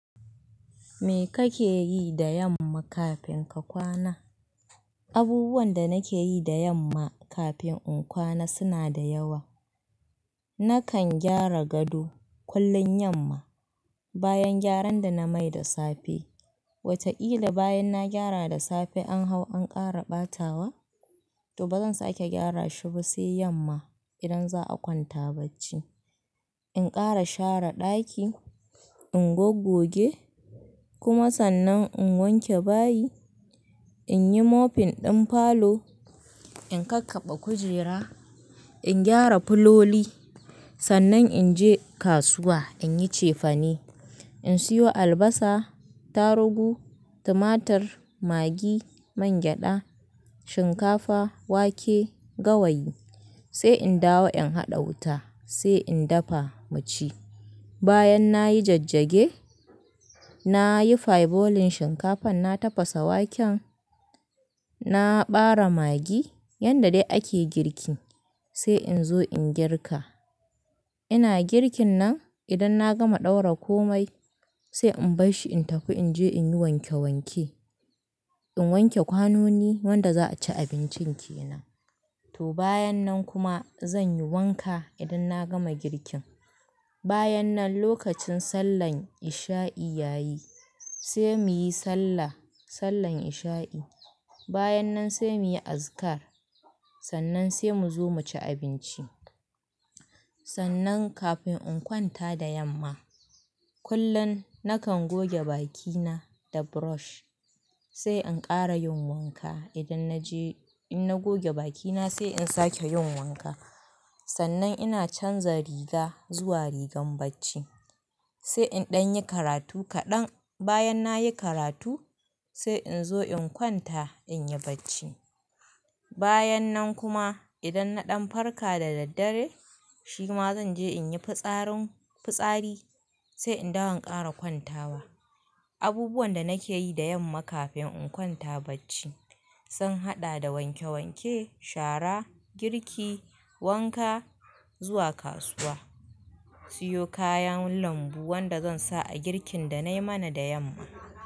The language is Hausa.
Me kake yi da yamma kafin ka kwana? Abubuwan da nake yi da yamma kafin in kwana suna da yawa. Nakan gyara gado kullum yamma, bayan gyaran da na mai da safe. Wataƙila bayan na gyara da safe an hau an ƙara ɓatawa, to bazan sake gyara shi ba sai yamma idan za a kwanta bacci. In ƙara share ɗaki, in gogoge, kuma sannan in wanke bayi, in yi mofin ɗin falo, in kakkaɓe kujera, in gyara fuloli, sannan in je kasuwa in yi cefane. In siyo albasa, tarugu, tumatur, magi, mangyaɗa, shinkafa, wake, gawayi, sai in dawo in haɗa wuta, sai in dafa mu ci. Bayan nayi jajjage, nayi faibolin shinkafan, na tafasa waken, na ɓare magi yanda dai ake girki, sai in zo in girka. Ina girkin nan idan na gama ɗaura komai sai in bar shi in tafi in je in yi wanke wanke. In wanke kwanoni wanda za a ci abincin ke nan. To bayan nan kuma zan yi wanka idan na gama girkin. Bayan nan lokacin sallan isha'i ya yi, sai muyi sallah, sallan isha'i. Bayan nan sai muyi azikar, sannan sai mu zo mu ci abinci. Sannan kafin in kwanta da yamma, kullum nakan goge bakina da brush, sai in ƙara yin wanka idan naje in na goge bakina sai in sake yin wanka. Sannan ina canza riga zuwa rigar bacci, sai in ɗan yi karatu kaɗan. Bayan nayi karatu sai in zo in kwanta in yi bacci. Bayan nan kuma idan na ɗan farka da daddare, shi ma zan je in yi fitsarin fitsari sai in dawo in ƙara kwantawa. Abubuwan da nake yi da yamma kafin in kwanta bacci sun haɗa da wanke wanke, shara, girki, wanka, zuwa kasuwa, siyo kayan lambu wanda zan sa a girkin da nai mana da yamma.